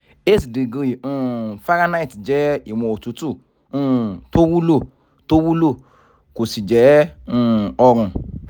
eight degree um fahrenheit jẹ́ iwọn otutu um tó wúlò tó wúlò kò sì jẹ́ um ọrùn